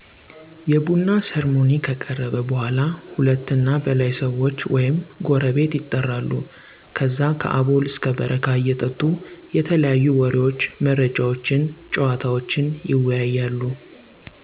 የቡና ሰርሞኒ ከቀረበ በኃላ ሁለት እና በላይ ሰዎች ወይም ጎረቤት የጠራሉ ከዛ ከአቦል እስከ በረካ እየጠጡ የተለያዩ ወሬዎች፣ መረጃዎችነ፣ ጨዋታወችን ይወያያሉ